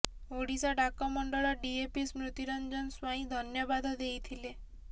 ଓଡ଼ିଶା ଡାକ ମଣ୍ଡଳ ଡିଏପି ସ୍ମୃତି ରଞ୍ଜନ ସ୍ୱାଇଁ ଧନ୍ୟବାଦ ଦେଇଥିଲେ